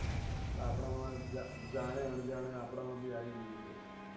આપણાંમાં જા જાણે અણજાણે આપણાંમાં ભી આવી ગયું છે